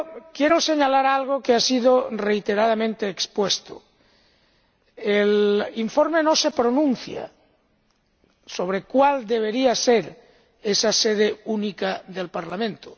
Quiero además señalar algo que ha sido reiteradamente expuesto el informe no se pronuncia sobre cuál debería ser esa sede única del Parlamento